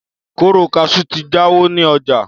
kóró kaṣú ti jáwọ́ ní ọjà